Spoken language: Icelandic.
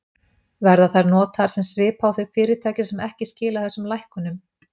Verða þær notaðar sem svipa á þau fyrirtæki sem ekki skila þessum lækkunum?